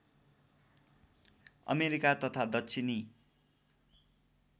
America तथा दक्षिणी